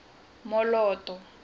moloto